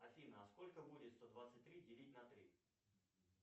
афина а сколько будет сто двадцать три делить на три